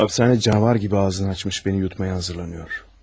Hapisane cavar kimi ağzını açmış məni yutmaya hazırlanıyor.